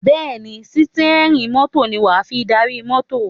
Bẹ́ẹ̀ ni, sítíẹ́rì mọ́tò ní wà á fi darí mọ́tò.